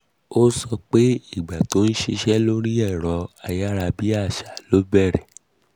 ó sọ pé ìgbà tó ń ṣiṣẹ́ lórí ẹ̀rọ um ayárabíàṣá ló bẹ̀rẹ̀